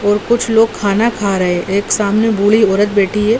और कुछ लोग खाना खा रहे एक सामने बूढ़ी औरत बैठी है।